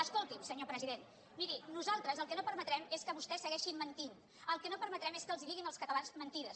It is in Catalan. escolti’m senyor president miri nosaltres el que no permetrem és que vostès segueixin mentint el que no permetrem és que els diguin als catalans mentides